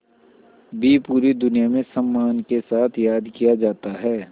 भी पूरी दुनिया में सम्मान के साथ याद किया जाता है